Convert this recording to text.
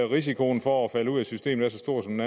risikoen for at falde ud af systemet er så stor som